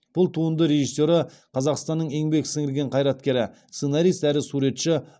бұл туынды режиссері қазақстанның еңбек сіңірген қайраткері сценарист әрі суретші